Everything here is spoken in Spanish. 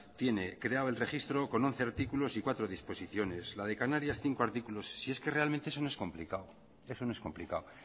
tiene creado el registro con once artículos y cuatro disposiciones la de canarias cinco artículos si es que realmente eso no es complicado eso no es complicado